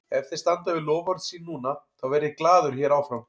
Ef þeir standa við loforð sín núna, þá verð ég glaður hér áfram.